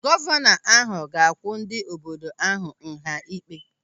Gọvanọ ahụ ga-akwụ ndị obodo ahụ nha ịkpe.